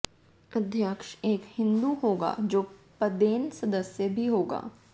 अध्यक्ष एक हिंदू होगा जो पदेन सदस्य भी होगा